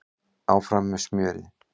Áfram með smjörið